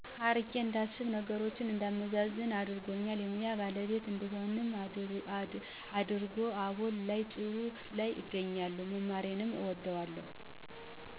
አርቄ እንዳስብ ነገሮችን እንዳመዛዝን አድርጎኛል የሙያ ባለቤት እንድሆንም አድርጎል አሁን ላይ ጥሩ ላይ እገኛለሁ መማሬንም እወደዋለሁ።